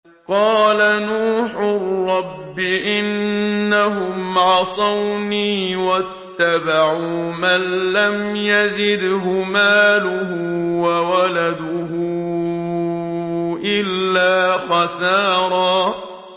قَالَ نُوحٌ رَّبِّ إِنَّهُمْ عَصَوْنِي وَاتَّبَعُوا مَن لَّمْ يَزِدْهُ مَالُهُ وَوَلَدُهُ إِلَّا خَسَارًا